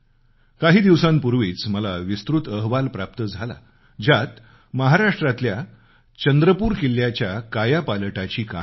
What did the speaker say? काही दिवसापूर्वीच मला विस्तृत अहवाल प्राप्त झाला ज्यात महाराष्ट्रातल्या चंद्रपूर किल्ल्यामधल्या कायापालटाची कहाणी आहे